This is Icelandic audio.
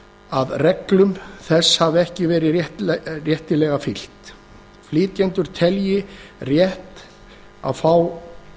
að reglum þess hafi ekki verið réttilega fylgt flytjendur telja rétt að fá